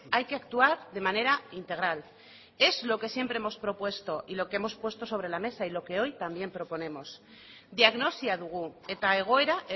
hay que actuar de manera integral es lo que siempre hemos propuesto y lo que hemos puesto sobre la mesa y lo que hoy también proponemos diagnosia dugu eta egoera